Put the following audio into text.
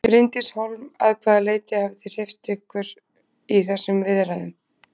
Bryndís Hólm: Að hvaða leyti hafið þið hreyft ykkur í þessum viðræðum?